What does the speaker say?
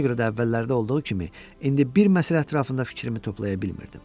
Buna görə də əvvəllərdə olduğu kimi indi bir məsələ ətrafında fikrimi toplaya bilmirdim.